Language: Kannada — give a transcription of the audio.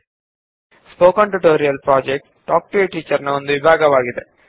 spoken tutorial project talk to a teacher ಎಂಬ ಪರಿಯೋಜನೆಯ ಭಾಗವಾಗಿದೆ